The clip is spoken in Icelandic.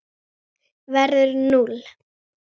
verður núll.